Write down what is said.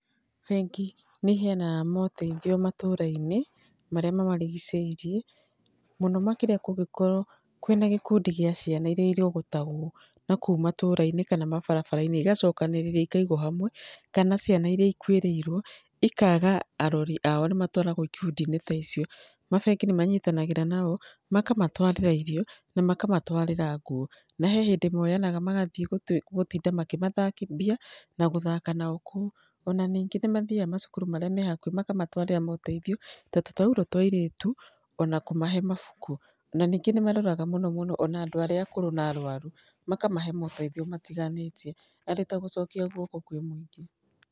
Bengi nĩ iheanaga maũteithio matũra-inĩ marĩa mamarigicĩirie. Mũno makĩria kũngĩkorwo kwĩna gĩkundi gĩa ciana iria irogotagwo nakũu matũra-inĩ kana mabarabara-inĩ, igacokanĩrĩrio ikaigwo hamwe, kana ciana iria ikuĩrĩirwo ikaaga arori ao, nĩ matwaragwo ikundi-inĩ ta icio. Mabengi nĩ manyitanagĩra nao makamatwarĩra irio na makamatwarĩra nguo. Na he hĩndĩ mooyanaga magathiĩ gũtinda makĩmathambia na gũthaka nao kũu, o na ningĩ nĩ mathiaga macukuru marĩa me hakuhĩ, makamatwarĩra maũteithio, ta tũtaurũ twa airĩtu, o na kũmahe mabuku. Na ningĩ nĩ maroraga mũno mũno o na andũ arĩa akũrũ na arũaru makamahe maũteithio matiganĩte arĩ ta gũcokia guoko kwĩ mũingĩ.